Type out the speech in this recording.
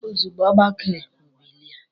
Ozugbo ọ gbakere, o bilie.